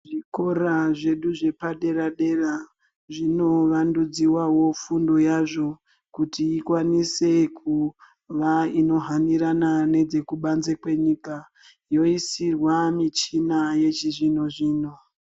Zvikora zvedu zvepadera dera zvinowandidziwawo fundo yazvo kuti ikwanise kuva ino hanirana nedzekubanze kwenyika yoisirwa michina yechizvino zvino.